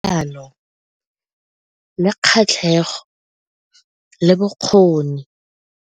Jaanong le kgatlhego le bokgoni.